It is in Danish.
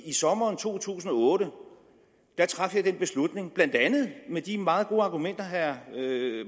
i sommeren to tusind og otte traf jeg den beslutning blandt andet med de meget gode argumenter herre